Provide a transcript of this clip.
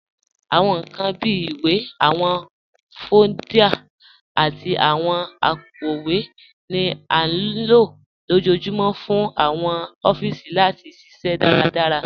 Awọn nkan bíi ìwé, awọn fóòlda, àti awọn àpòowé ni à nílo lọjọ́ọ̀júmọ̀ fún awọn òfíìsí láti ṣiṣẹ daradárá